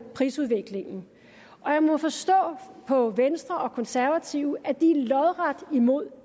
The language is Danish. prisudviklingen jeg må forstå på venstre og konservative at de er lodret imod